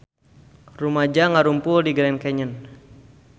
Rumaja ngarumpul di Grand Canyon